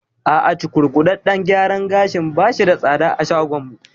A'a, cukurkuɗaɗɗen gyaran gashin bashi da tsada a shagon mu